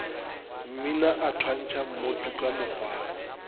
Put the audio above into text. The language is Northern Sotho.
mmina a thwantšha mmotuka mokgwana